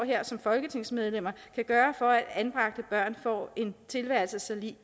her som folketingsmedlemmer kan gøre for at anbragte børn får en tilværelse så lig